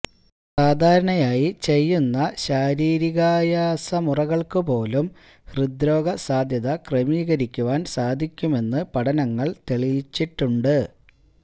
സാധാരണയായി ചെയ്യുന്ന ശാരീരികായാസമുറകള്ക്കുപോലും ഹൃദ്രോഗ സാധ്യത ക്രമീകരിക്കുവാന് സാധിക്കുമെന്ന് പഠനങ്ങള് തെളിയിച്ചിട്ടുണ്ട്